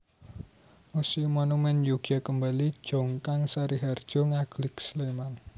Muséum Monumen Yogya Kembali Jongkang Sariharjo Ngaglik Sleman